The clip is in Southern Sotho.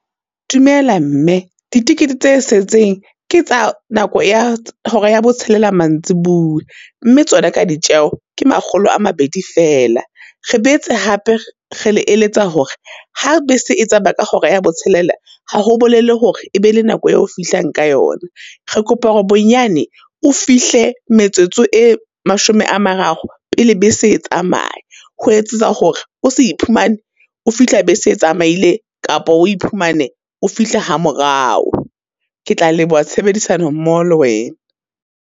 Dumela mme ditekete tse setseng, ke tsa nako ya hora ya bo tshelela mantsibuya, mme tsona ka ditjeo ke makgolo a mabedi fela. Re boetse hape re le eletsa hore ha bese e tsamaya ka hora ya botshelela, ha ho bolele hore, e be le nako eo fihlang ka yona. Re kopa hore bonyane o fihle metsotso e mashome a mararo pele bese e tsamaya, ho etsetsa hore o se iphumane, o fihla be se tsamaile kapa o iphumane o fihle ha morao. Ke tla leboha tshebedisano mmoho le wena.